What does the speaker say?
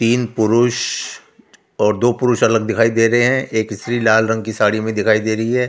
तीन पुरुष और दो पुरुष अलग दिखाई दे रहे हैं एक स्त्री लाल रंग की साड़ी में दिखाई दे रही है।